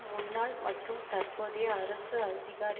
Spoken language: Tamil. முன்னாள் மற்றும் தற்போதைய அரசு அதிகாரி